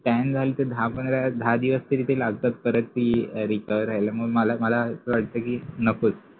scan झालं तर दहा पंधरा दहा दिवस लागतात परत ते Recover होयला आणि मग मला असा वाटत कि नकोच